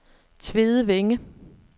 Tvedevænge